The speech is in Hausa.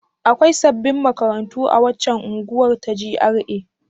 Akwai sabbin makarantu a waccan unguwar ta GRA?